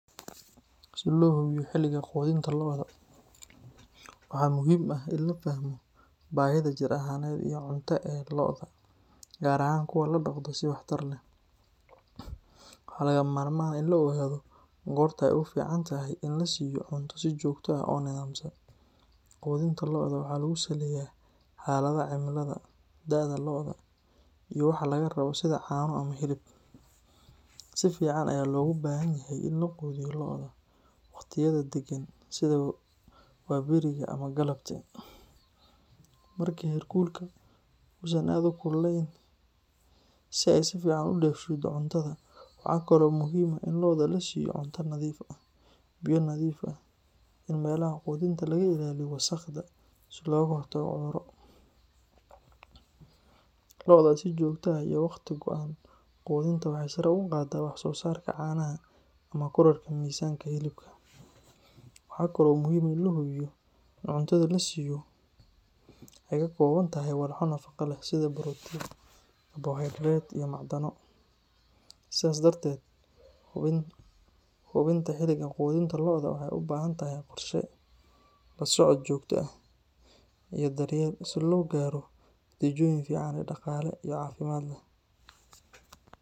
Si loo hubiyo xiliga quudinta lo’da, waxaa muhiim ah in la fahmo baahida jir ahaaneed iyo cunto ee lo’da, gaar ahaan kuwa la dhaqdo si waxtar leh. Waxaa lagama maarmaan ah in la ogaado goorta ay ugu fiican tahay in la siiyo cunto si joogto ah oo nidaamsan. Qudinta lo’da waxaa lagu saleeyaa xaaladda cimilada, da’da lo’da, iyo waxa laga rabo sida caano ama hilib. Si fiican ayaa loogu baahan yahay in la quudiyo lo’da waqtiyada degan sida waaberiga ama galabtii, marka heerkulka uusan aad u kululayn, si ay si fiican u dheefshiiddo cuntada. Waxaa kale oo muhiim ah in lo’da la siiyo cunto nadiif ah, biyo nadiif ah, iyo in meelaha quudinta laga ilaaliyo wasakhda si looga hortago cudurro. Lo’da si joogto ah iyo waqti go’an u quudinta waxay sare u qaaddaa wax soo saarka caanaha ama kororka miisaanka hilibka. Waxa kale oo muhiim ah in la hubiyo in cuntada la siiyo ay ka kooban tahay walxo nafaqo leh sida borotiin, karbohaydarayt, iyo macdano. Sidaas darteed, hubinta xiliga quudinta lo’da waxay u baahan tahay qorshe, la socod joogto ah, iyo daryeel si loo gaaro natiijooyin fiican oo dhaqaale iyo caafimaad leh.